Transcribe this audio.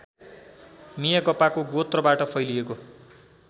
मियागपाको गोत्रबाट फैलिएको